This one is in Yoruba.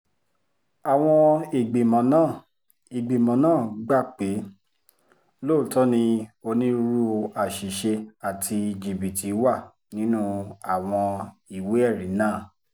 àwọn ìgbìmọ̀ náà ìgbìmọ̀ náà gbà pé lóòótọ́ ni onírúurú àṣìṣe àti jìbìtì wà nínú àwọn ìwé-ẹ̀rí náà